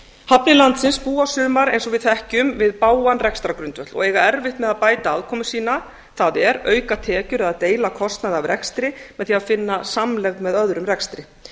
hafnir landsins búa sumar eins og við þekkjum við bágan rekstrargrundvöll og eiga erfitt með að bæta afkomu sína það er auka tekjur eða deila kostnaði af rekstri með því að finna samlegð með öðrum rekstri